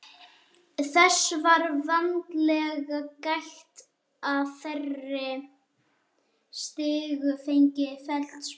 Þess var vandlega gætt að þeir stigju engin feilspor.